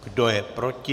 Kdo je proti?